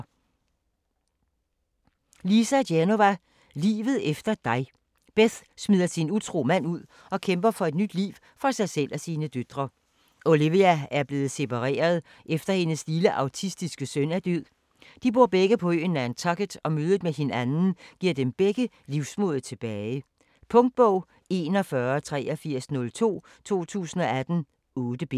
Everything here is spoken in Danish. Genova, Lisa: Livet efter dig Beth smider sin utro mand ud og kæmper for et nyt liv for sig selv og sine døtre. Olivia er blevet separeret, efter hendes lille autistiske søn er død. De bor begge på øen Nantucket, og mødet med hinanden giver dem begge livsmodet tilbage. Punktbog 418302 2018. 8 bind.